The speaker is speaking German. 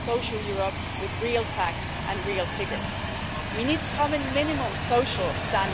sozialer Sicherheit, von Solidarität, von einer Gemeinschaft hier in der Europäischen Union haben?